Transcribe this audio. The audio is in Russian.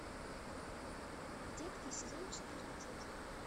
детки сезон четырнадцать